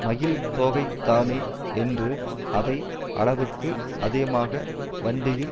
மயில்தோகைதானே என்று அதை அளவுக்கு அதிகமாக வண்டியில்